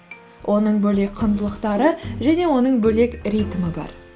оның бөлек құндылықтары және оның бөлек ритмі бар